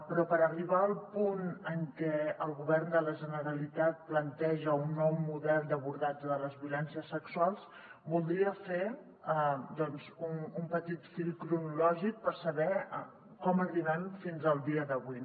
però per arribar al punt en què el govern de la generalitat planteja un nou model d’abordatge de les violències sexuals voldria fer un petit fil cronològic per saber com arribem fins al dia d’avui